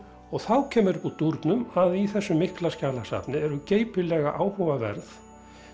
þá kemur upp úr dúrnum að í þessu mikla skjalasafni eru geypilega áhugaverð